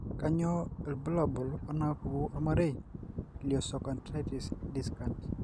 Kainyio irbulabul onaapuku ormarei leosteochondritis dissecans?